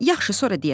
Yaxşı sonra deyərəm.